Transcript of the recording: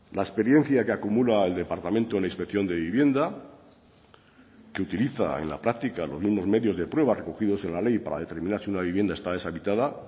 la experiencia que acumula el departamento en la inspección de vivienda que utiliza en la práctica los mismos medios de prueba recogidos en la ley para determinar si una vivienda está deshabitada